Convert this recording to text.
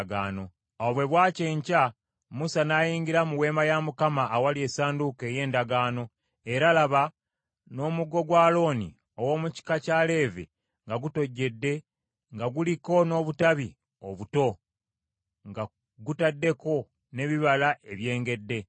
Awo bwe bwakya enkya Musa n’ayingira mu Weema ya Mukama awali Essanduuko ey’Endagaano, era laba, ng’omuggo gwa Alooni ow’omu kika kya Leevi nga gutojjedde nga guliko n’obutabi obuto, nga gutaddeko n’ebibala ebyengedde.